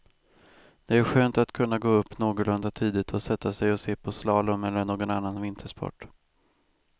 Det är skönt att kunna gå upp någorlunda tidigt och sätta sig och se på slalom eller någon annan vintersport.